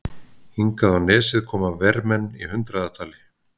Hingað á nesið koma vermenn í hundraðatali.